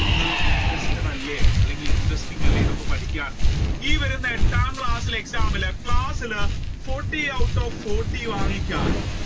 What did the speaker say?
നിങ്ങൾ interested അല്ലെ interesting അല്ലെങ്കിൽ അല്ലെ നിങ്ങൾ ഇപ്പോ ഈ വരുന്ന എട്ടാം ക്ലാസ്സിലെ exam ഇൻ class ഇൽ forty out of forty വാങ്ങിച്ചാൽ